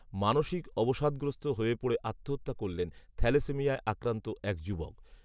মানসিক অবসাদগ্রস্ত হয়ে পড়ে আত্মহত্যা করলেন থ্যালাসেমিয়ায় আক্রান্ত এক যুবক